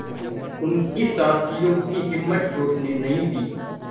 उनके साथियों की हिम्मत टूटने नहीं दी